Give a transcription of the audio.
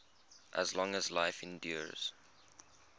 as long as life endures